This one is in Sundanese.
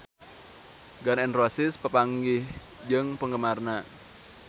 Gun N Roses papanggih jeung penggemarna